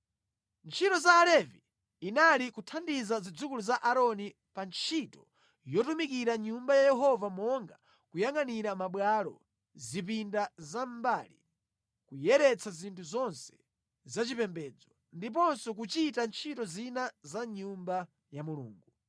Ntchito ya Alevi inali kuthandiza zidzukulu za Aaroni pa ntchito yotumikira mʼNyumba ya Yehova monga kuyangʼanira mabwalo, zipinda zamʼmbali, kuyeretsa zinthu zonse zachipembedzo, ndiponso kuchita ntchito zina za mʼnyumba ya Mulungu.